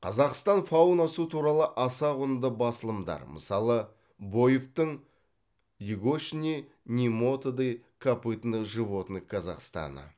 қазақстан фаунасы туралы аса құнды басылымдар мысалы боевтың егочные немотоды копытных животных казахстана